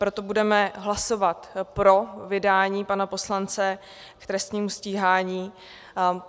Proto budeme hlasovat pro vydání pana poslance k trestnímu stíhání.